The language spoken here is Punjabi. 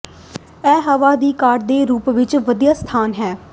ਇਹ ਹਵਾ ਦੀ ਘਾਟ ਦੇ ਰੂਪ ਵਿੱਚ ਵਧੀਆ ਸਥਾਨ ਹੈ